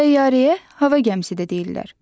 Təyyarəyə hava gəmisi də deyirlər.